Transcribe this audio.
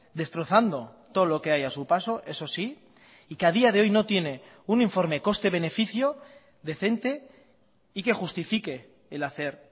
destrozando todo lo que hay a su paso eso sí y que a día de hoy no tiene un informe coste beneficio decente y que justifique el hacer